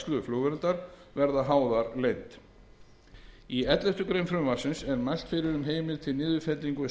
flugverndar verða háðar leynd í elleftu greinar frumvarpsins er mælt fyrir um heimild til niðurfellingu